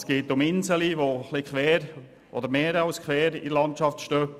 Es geht um Strasseninseln, die mehr als quer in der Landschaft stehen;